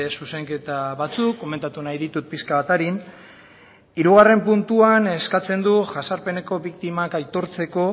zuzenketa batzuk komentatu nahi ditut pixka bat arin hirugarren puntuan eskatzen du jazarpeneko biktimak aitortzeko